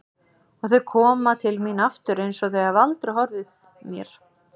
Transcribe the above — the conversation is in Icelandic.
Og þau koma til mín aftur einsog þau hafi aldrei horfið mér.